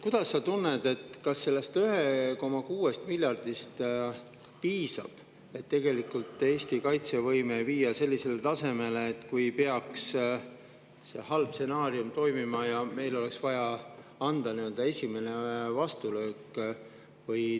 Kuidas sa tunned, kas sellest 1,6 miljardist piisab, et Eesti kaitsevõime viia sellisele tasemele, et kui peaks see halb stsenaarium toimima, siis me saaksime anda esimese vastulöögi?